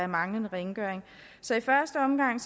manglende rengøring så i første omgang